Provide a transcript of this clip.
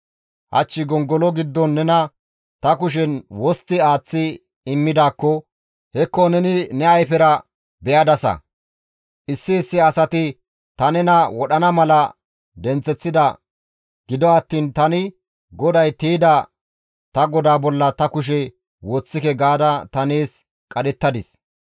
Hach gongolo giddon nena ta kushen wostti aaththi immidaakko hekko neni ne ayfera be7adasa; issi issi asati ta nena wodhana mala denththeththida; gido attiin tani, ‹GODAY tiyda ta godaa bolla ta kushe woththike› gaada ta nees qadhettadis.